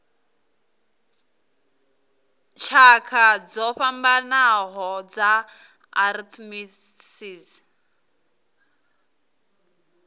tshakha dzo fhambanaho dza arthritis